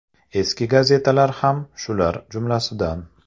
Eski gazetalar ham shular jumlasidan.